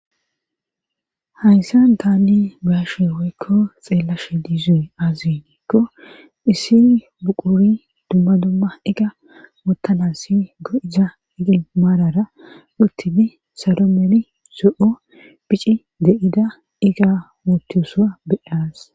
Hayssa taanne baashe hoykko xeellashe lizuy azinikko issi buquri dumma dumma iga wottanassi go'iza igi maalara uttini salo meli so'o phici de'ida iga wotisa beyaas.